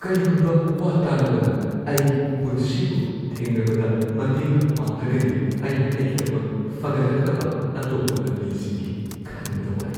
ꯀꯔꯤꯒꯨꯝꯕ ꯋꯥ ꯇꯥꯅꯕꯅ ꯑꯩ ꯄꯨꯟꯁꯤꯕꯨ ꯊꯦꯡꯅꯕꯗ ꯃꯇꯦꯡ ꯄꯥꯡꯗ꯭ꯔꯒꯗꯤ ꯑꯩꯅ ꯑꯩꯒꯤꯗꯃꯛ ꯐꯒꯠꯂꯛꯅꯕ ꯑꯇꯣꯞꯄ ꯂꯝꯕꯤꯁꯤꯡꯒꯤ ꯈꯟꯕꯗ ꯋꯥꯏ꯫